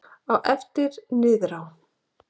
Á eftir niðrá